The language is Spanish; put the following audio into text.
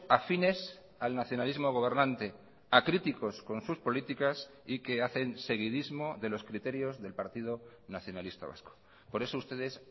afines al nacionalismo gobernante acríticos con sus políticas y que hacen seguidismo de los criterios del partido nacionalista vasco por eso ustedes